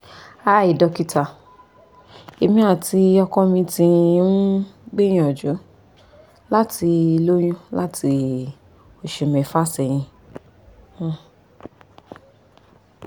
hi dokita emi ati ọkọ mi ti n um gbiyanju lati loyun lati oṣu mẹfa sẹhin